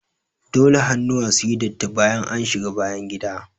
Dole hannuwa suyi datti bayan an shiga bayangida.